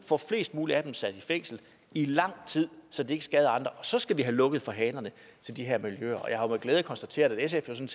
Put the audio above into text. få flest mulige af dem sat i fængsel i lang tid så de ikke skader andre og så skal vi have lukket for hanerne til de her miljøer og jeg har jo med glæde konstateret at sf selv